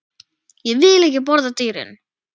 Ég vil ekki borða dýrin.